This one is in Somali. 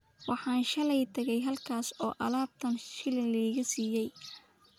Waxaan shalay tagay halkaas oo labaatan shilin la iga siiyay